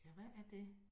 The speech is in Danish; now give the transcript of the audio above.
Ja, hvad er det